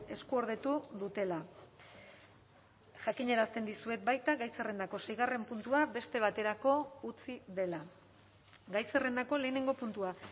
eskuordetu dutela jakinarazten dizuet baita gai zerrendako seigarren puntua beste baterako utzi dela gai zerrendako lehenengo puntua